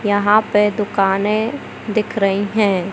यहां पे दुकानें दिख रही हैं।